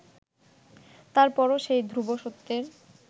তার পরও সেই ধ্রুব সত্যের